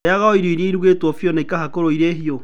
Rĩaga irio o iria irugĩtwo biũ na ikahakũrwo ĩrĩ mbiũ.